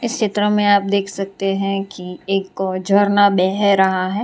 चित्र में आप देख सकते हैं कि एक झरना बह रहा है।